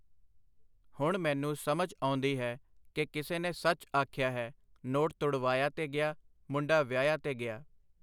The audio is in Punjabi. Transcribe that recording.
ਹੁਣ ਮੈਨੂੰ ਸਮਝ ਆਉਂਦੀ ਹੈ ਕਿ ਕਿਸੇ ਨੇ ਸੱਚ ਆਖਿਆ ਹੈ ਨੋਟ ਤੁੜਵਾਇਆ ਤੇ ਗਿਆ, ਮੁੰਡਾ ਵਿਆਹਿਆ ਤੇ ਗਿਆ.